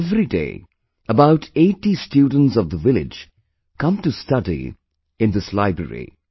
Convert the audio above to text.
Everyday about 80 students of the village come to study in this library